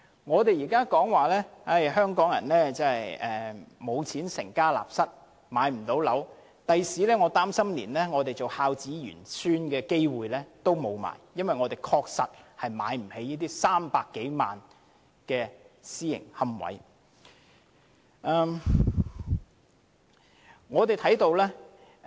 我們現在經常說，香港人不能成家立室，因為沒有錢置業，我擔心日後我們想做孝子賢孫的機會也沒有，因為我們確實負擔不起這些300多萬元的私營龕位。